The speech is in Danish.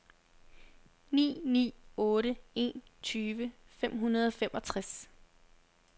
ni ni otte en tyve fem hundrede og femogtres